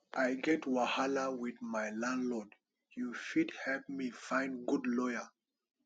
i get wahala wit my landlord you fit help me find good lawyer